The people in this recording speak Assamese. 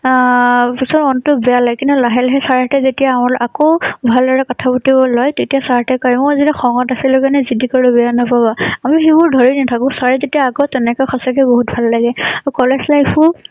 আহ কিছু মন টো বেয়া লাগে কিন্তু লাহে লাহে চাৰ সতে যেতিয়া আমাৰ লগত আকৌ ভাল দৰে কথা পাতিব লয় তেতিয়া চাৰ সতে কয় মই যেতিয়া খঙত আছিলোঁ কাৰণে যি তি কলোঁ বেয়া নাপাবা। আমি সেইবোৰ ধৰি নাথাকোঁ চাৰ এ যেতিয়া আকৌ তেনেকৈ সঁচাকৈ বহুত ভাল লাগে আৰু কলেজ life ও